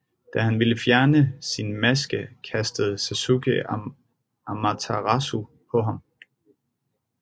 Da han ville fjerne sin maske kastede Sasuke Amaterasu på ham